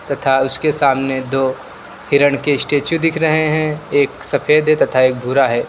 तथा उसके सामने दो हिरण के स्टैचू दिख रहे हैं एक सफेद है तथा एक भूरा है।